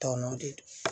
Tɔ nɔ de don